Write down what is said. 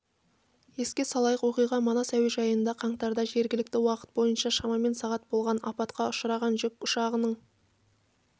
еске салайық оқиға манас әуежайында қаңтарда жергілікті уақыт бойынша шамамен сағат болған апатқа ұшыраған жүк ұшағының